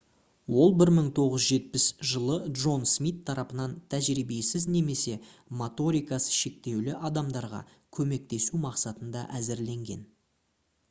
ол 1970 жылы джон смит тарапынан тәжірибесіз немесе моторикасы шектеулі адамдарға көмектесу мақсатында әзірленген